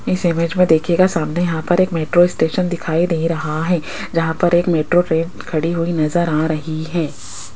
इस इमेज में देखिएगा सामने यहां पर एक मेट्रो स्टेशन दिखाई दे रहा है जहां पर एक मेट्रो ट्रेन खड़ी हुई नजर आ रही है।